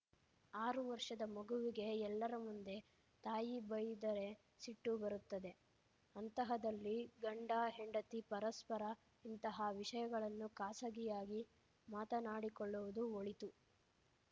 ಆರು ವರ್ಷದ ಮಗುವಿಗೆ ಎಲ್ಲರ ಮುಂದೆ ತಾಯಿ ಬೈಯ್ದರೆ ಸಿಟ್ಟು ಬರುತ್ತದೆ ಅಂತಹದರಲ್ಲಿ ಗಂಡಹೆಂಡತಿ ಪರಸ್ಪರ ಇಂತಹ ವಿಷಯಗಳನ್ನು ಖಾಸಗಿಯಾಗಿ ಮಾತನಾಡಿಕೊಳ್ಳುವುದು ಒಳಿತು